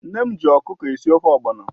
Nne m ji ọkụkọ na-esi ofe ogbọnọ